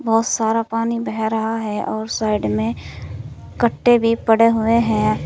बहोत सारा पानी बह रहा है और साइड में कट्टे भी पड़े हुए हैं।